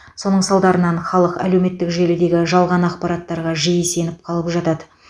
соның салдарынан халық әлеуметтік желідегі жалған ақпараттарға жиі сеніп қалып жатады